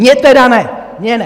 Mně tedy ne, mně ne!